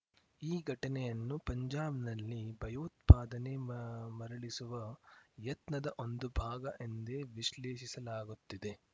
ಈ ಘಟನೆಯನ್ನು ಪಂಜಾಬ್‌ನಲ್ಲಿ ಭಯೋತ್ಪಾದನೆ ಮ ಮರಳಿಸುವ ಯತ್ನದ ಒಂದು ಭಾಗ ಎಂದೇ ವಿಶ್ಲೇಷಿಸಲಾಗುತ್ತಿದೆ